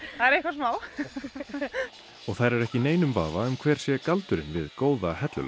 það er eitthvað smá og þær eru ekki í neinum vafa um hver sé galdurinn við góða hellulögn